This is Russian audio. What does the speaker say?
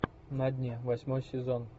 на дне восьмой сезон